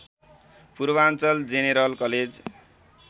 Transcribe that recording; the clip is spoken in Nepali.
Purvanchal general college